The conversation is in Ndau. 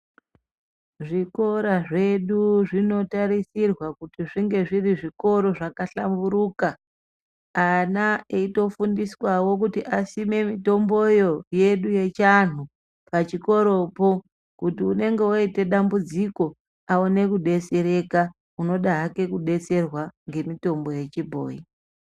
Zvikora zvedu zvinotarisirwa kunge zvinge zviri zvikora zvabahlamburuka ana eitofundiswa asime mitomboyo yedu yechivantu kuti unenge wakuita dambudziko aone kudetsereka unenge hake ada kudetserwa nemutombo wechibhoyi.